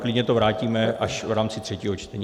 Klidně to vrátíme až v rámci třetího čtení.